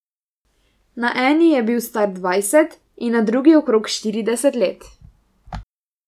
Na eni je bil star dvajset in na drugi okrog štirideset let.